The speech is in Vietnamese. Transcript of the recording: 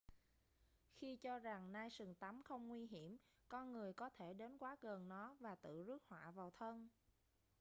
khi cho rằng nai sừng tấm không nguy hiểm con người có thể đến quá gần nó và tự rước họa vào thân